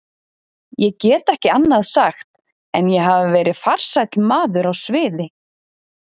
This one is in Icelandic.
Ég get ekki annað sagt en ég hafi verið farsæll maður á sviði.